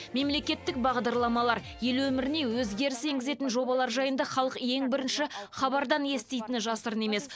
мемлекеттік бағдарламалар ел өміріне өзгеріс енгізетін жобалар жайында халық ең бірінші хабардан еститіні жасырын емес